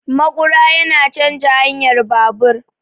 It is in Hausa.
Maƙura yana canja hanyar babur